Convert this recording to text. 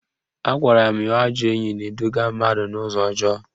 Agwara m ya ajọ enyi na-eduga mmadụ n'ụzọ ọjọọ